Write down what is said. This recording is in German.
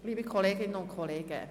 Liebe Kolleginnen und Kollegen!